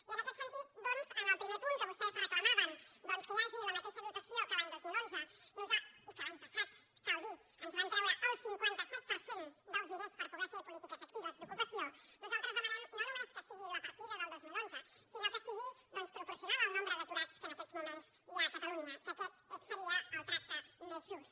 i en aquest sentit doncs en el primer punt que vostès reclamaven que hi hagi la mateixa dotació que l’any dos mil onze i que l’any passat cal dir ho ens van treure el cinquanta set per cent dels diners per poder fer polítiques actives d’ocupació nosaltres demanem no només que sigui la partida del dos mil onze sinó que sigui proporcional al nombre d’aturats que en aquests moments hi ha a catalunya que aquest seria el tracte més just